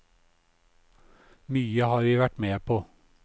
Mye har vi vært med på.